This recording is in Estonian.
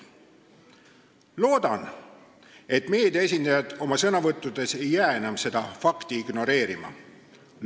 Loodan, et meedia esindajad ei jää oma sõnavõttudes seda fakti ignoreerima.